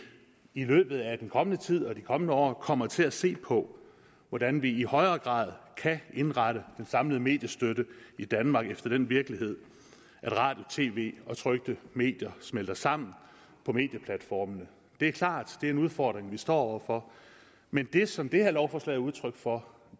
i løbet af den kommende tid og de kommende år kommer til at se på hvordan vi i højere grad kan indrette den samlede mediestøtte i danmark efter den virkelighed at radio tv og trykte medier smelter sammen på medieplatformene det er klart det er en udfordring vi står over for men det som det her lovforslag er udtryk for